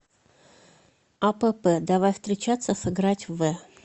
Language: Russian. апп давай встречаться сыграть в